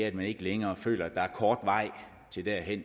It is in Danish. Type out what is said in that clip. at man ikke længere føler at der er kort vej til det